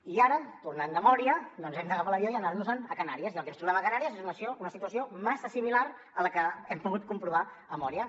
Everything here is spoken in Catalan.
i ara tornant de mòria doncs hem d’agafar l’avió i anar nos en a canàries i el que ens trobem a canàries és una situació massa similar a la que hem pogut comprovar a mória